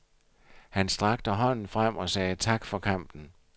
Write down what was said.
Han strakte hånden frem og sagde tak for kampen.